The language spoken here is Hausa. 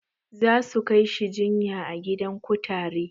Za su kai shi jinya a gidan kutare.